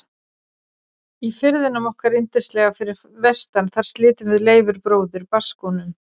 Í firðinum okkar yndislega fyrir vestan þar slitum við Leifur bróðir barnsskónum.